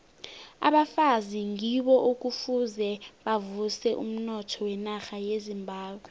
abafazi ngibo ekufuze bavuse umnotho wenarha yezimbabwe